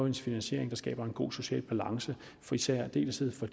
en finansiering der skaber en god social balance i særdeleshed for